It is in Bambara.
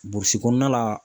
Burusi kɔnɔna la